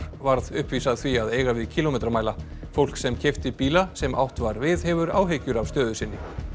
varð uppvís að því að eiga við kílómetramæla fólk sem keypti bíla sem átt var við hefur áhyggjur af stöðu sinni